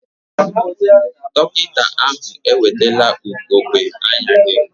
Dọkịta ahụ ewetela ugogbe anya gị?